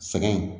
Sɛgɛn